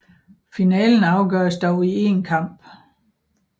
Finalen afgøres dog i én kamp